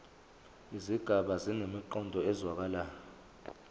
izigaba zinemiqondo ezwakalayo